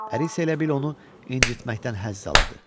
Əri isə elə bil onu incitməkdən həzz alırdı.